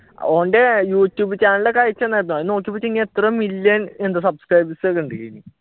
ഓന്റെ youtube channel ഒക്കെ എത്ര മില്യൺ എന്തോ subscribers ഒക്കെ ഉണ്ട്